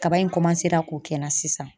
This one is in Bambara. Kaba in k'o kɛ n na sisan.